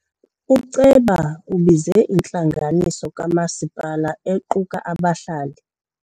Uceba ubize intlanganiso kamasipala equka abahlali.